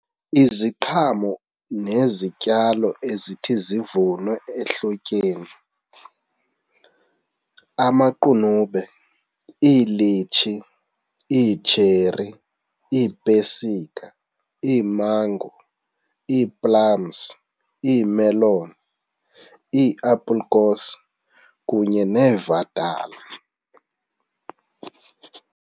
Iziqhamo nezityalo ezithi zivunwe ehlotyeni amaqunube, iilitshi, iitsheri, iipesika, iimango, ii-plums, iimeloni, ii-appelkoos kunye neevatala.